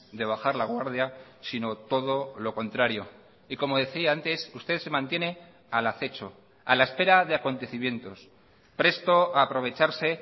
de bajar la guardia sino todo lo contrario y como decía antes usted se mantiene al acecho a la espera de acontecimientos presto a aprovecharse